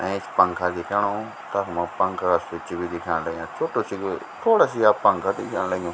ऐंच पंखा दिख्याणु तखमा पंखा स्विच भी दिखेंण लग्याँ छोटू सी जो थोडा सी या पंखा दिख्याण लग्युं।